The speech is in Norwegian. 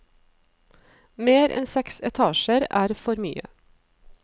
Mer enn seks etasjer er for mye.